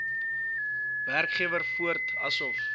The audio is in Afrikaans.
werkgewer voort asof